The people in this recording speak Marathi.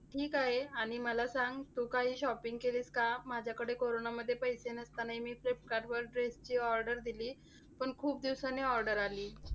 ठीक आहे. आणि मला सांग तू काही shopping केलीस का? माझ्याकडे कोरोनामध्ये पैसे नसतानाही मी फ्लिपकार्टवर dress ची order दिली, पण खूप दिवसांनी order आली.